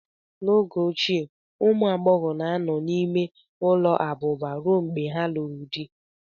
N'oge ochie, ụmụ agbọghọ na-anọ n'ime ụlọ abụba ruo mgbe ha lụrụ di